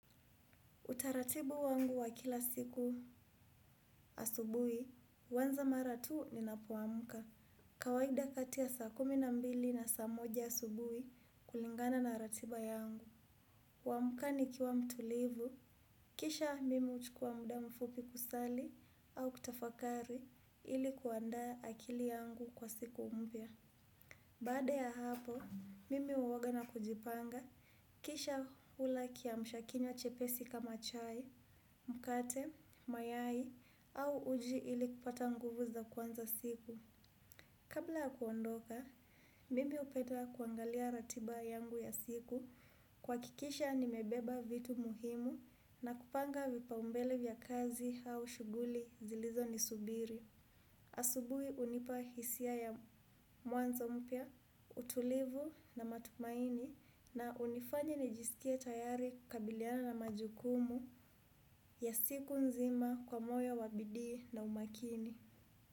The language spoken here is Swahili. Utaratibu wangu wa kila siku asubuhi, huanza mara tu ninapoamka. Kawaida kati ya saa kumi na mbili na saa moja asubuhi kulingana na ratiba yangu. Huamuka nikiwa mtulivu. Kisha mimi huchukua muda mfupi kusali au kutafakari ili kuandaa akili yangu kwa siku mpya. Baada ya hapo, mimi huoga na kujipanga. Kisha hula kiamshakinywa chepesi kama chai. Mkate, mayai au uji ili kupata nguvu za kuanza siku. Kabla ya kuondoka, mimi hupenda kuangalia ratiba yangu ya siku. Kuhakikisha nimebeba vitu muhimu na kupanga vipaumbele vya kazi au shughuli zilizonisubiri. Asubuhi hunipa hisia ya mwanzo mpya, utulivu na matumaini na hunifanya nijisikie tayari kukabiliana na majukumu ya siku nzima kwa moyo wa bidii na umakini.